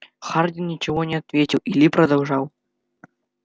хардин ничего не ответил и ли продолжал